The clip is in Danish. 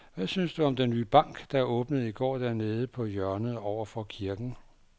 Hvad synes du om den nye bank, der åbnede i går dernede på hjørnet over for kirken?